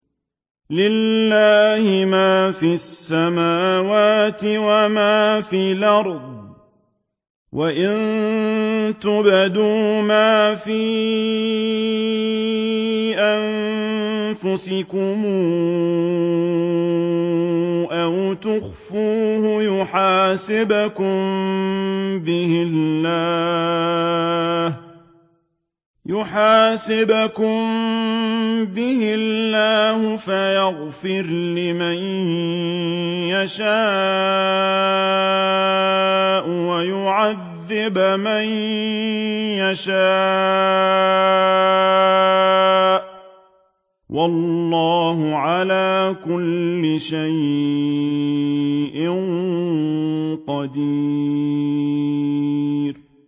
لِّلَّهِ مَا فِي السَّمَاوَاتِ وَمَا فِي الْأَرْضِ ۗ وَإِن تُبْدُوا مَا فِي أَنفُسِكُمْ أَوْ تُخْفُوهُ يُحَاسِبْكُم بِهِ اللَّهُ ۖ فَيَغْفِرُ لِمَن يَشَاءُ وَيُعَذِّبُ مَن يَشَاءُ ۗ وَاللَّهُ عَلَىٰ كُلِّ شَيْءٍ قَدِيرٌ